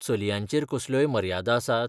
चलयांचेर कसल्योय मर्यादा आसात?